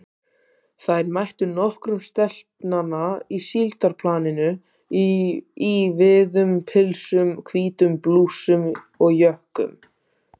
Þær mættu nokkrum stelpnanna á síldarplaninu í víðum pilsum, hvítum blússum og jökkum.